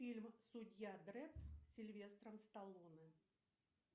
фильм судья дред с сильвестром сталлоне